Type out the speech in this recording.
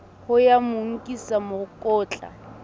ho ya mo nkisa mokotla